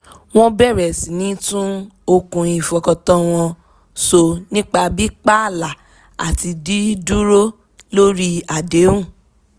wọ́n bẹ̀rẹ̀ síní tún okùn ìfọkàntán wọn so nípa pí pààlà àti dí dúró lórí àdéhùn